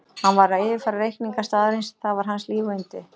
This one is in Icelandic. Hann var að yfirfara reikninga staðarins, það var hans líf og yndi.